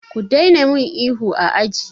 Ku daina min ihu a aji!